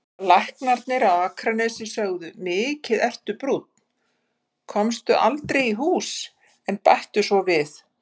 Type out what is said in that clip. Læknarnir á Akranesi sögðu: Mikið ertu brúnn, komstu aldrei í hús, en bættu svo við